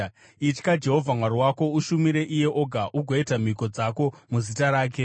Itya Jehovha Mwari wako, ushumire iye oga ugoita mhiko dzako muzita rake.